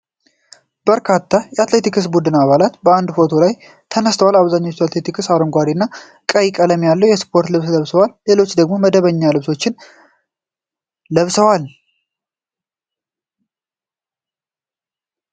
በርካታ የአትሌቲክስ ቡድን አባላት በአንድ ላይ ፎቶ ተነስተዋል። አብዛኞቹ አትሌቶች አረንጓዴ እና ቀይ ቀለም ያለው ስፖርታዊ ልብስ ለብሰዋል። ሌሎች ደግሞ መደበኛ ልብሶችን ለብሰዋል።